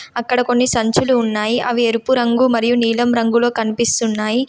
అక్కడ కొన్ని సంచులు ఉన్నాయి. అవి ఎరుపు రంగు మరియు నీలం రంగులో కనిపిస్తున్నాయి.